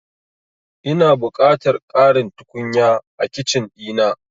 Ina buƙatar ƙarin tukunya a Kicin ɗina.